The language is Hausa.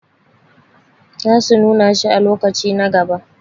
sa su nuna shi a lokaci na gaba